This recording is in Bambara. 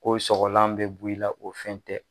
Ko sɔgɔlan bɛ b'i la o fɛn tɛ.